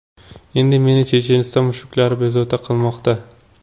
Endi meni Checheniston mushuklari bezovta qilmoqda.